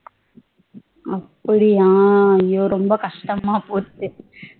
அப்டியா ஐயோ ரொம்ப கஷ்டமா போச்சே